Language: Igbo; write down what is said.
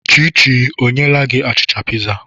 Chichi ọ nyeela gị achịcha piza?